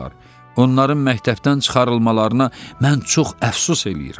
Onların məktəbdən çıxarılmalarına mən çox əfsus eləyirəm.